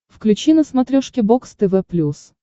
включи на смотрешке бокс тв плюс